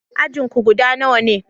Ajin ku guda nawa ne?